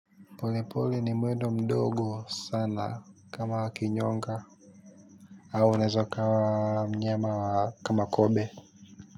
Pole pole ni mwendo mdogo sana kama kinyonga au unaeza ukawa mnyama kama kobe.